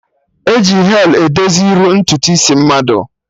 Eji hel edozi iru ntutu isi mmadụ